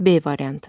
B variantı.